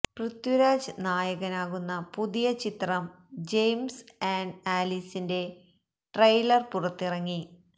പൃഥ്വിരാജ് നായകനാകുന്ന പുതിയ ചിത്രം ജയിംസ് ആൻഡ് ആലീസിന്റെ ട്രെയിലർ പുറത്തിറങ്ങി